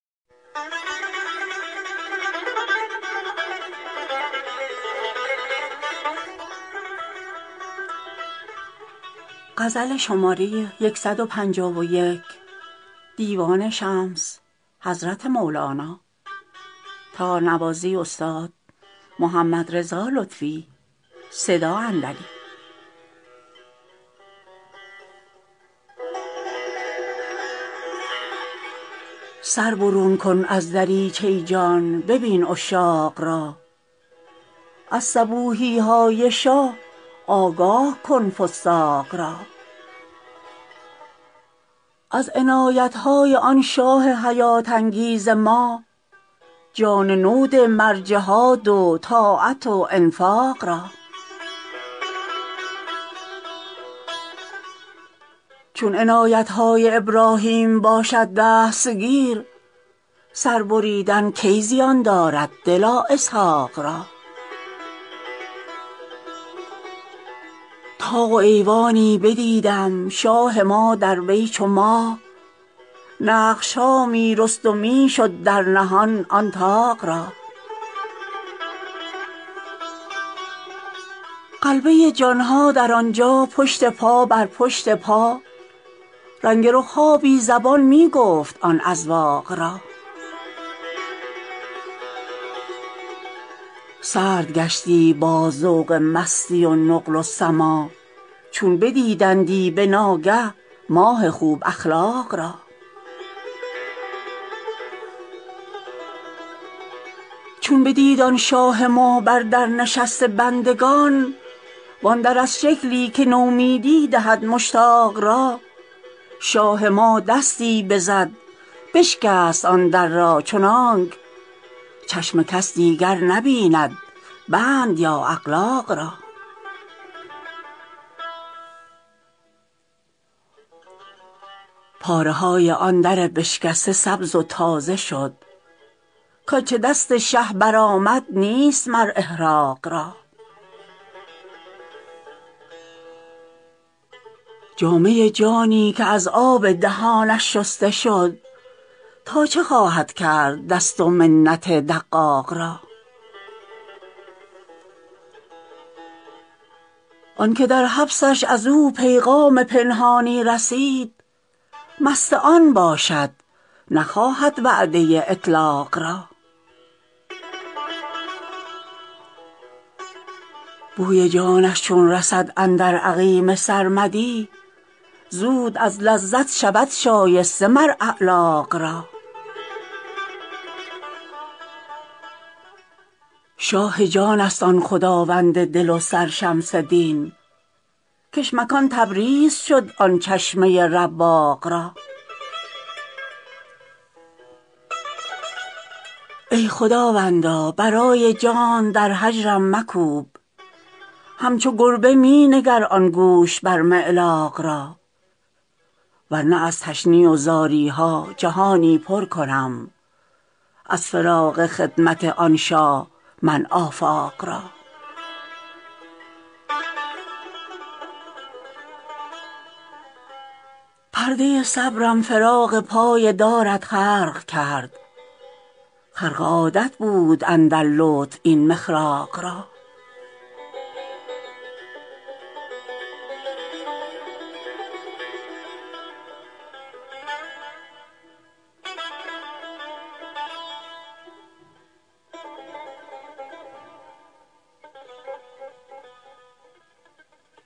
سر برون کن از دریچه جان ببین عشاق را از صبوحی های شاه آگاه کن فساق را از عنایت های آن شاه حیات انگیز را جان نو ده مر جهاد و طاعت و انفاق ما چون عنایت های ابراهیم باشد دستگیر سر بریدن کی زیان دارد دلا اسحاق را طاق و ایوانی بدیدم شاه ما در وی چو ماه نقش ها می رست و می شد در نهان آن طاق را غلبه جان ها در آن جا پشت پا بر پشت پا رنگ رخ ها بی زبان می گفت آن اذواق را سرد گشتی باز ذوق مستی و نقل و سماع چون بدیدندی به ناگه ماه خوب اخلاق را چون بدید آن شاه ما بر در نشسته بندگان وان در از شکلی که نومیدی دهد مشتاق را شاه ما دستی بزد بشکست آن در را چنانک چشم کس دیگر نبیند بند یا اغلاق را پاره های آن در بشکسته سبز و تازه شد کنچ دست شه برآمد نیست مر احراق را جامه جانی که از آب دهانش شسته شد تا چه خواهد کرد دست و منت دقاق را آن که در حبسش از او پیغام پنهانی رسید مست آن باشد نخواهد وعده اطلاق را بوی جانش چون رسد اندر عقیم سرمدی زود از لذت شود شایسته مر اعلاق را شاه جانست آن خداوند دل و سر شمس دین کش مکان تبریز شد آن چشمه رواق را ای خداوندا برای جانت در هجرم مکوب همچو گربه می نگر آن گوشت بر معلاق را ور نه از تشنیع و زاری ها جهانی پر کنم از فراق خدمت آن شاه من آفاق را پرده صبرم فراق پای دارت خرق کرد خرق عادت بود اندر لطف این مخراق را